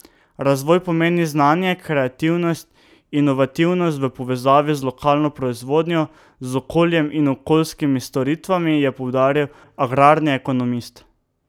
Razvoj pomeni znanje, kreativnost, inovativnost, v povezavi z lokalno proizvodnjo, z okoljem in okoljskimi storitvami, je poudaril agrarni ekonomist.